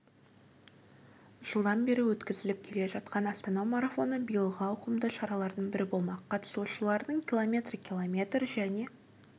жылдан бері өткізіліп келе жатқан астана марафоны биылғы ауқымды шаралардың бірі болмақ қатысушылар км км және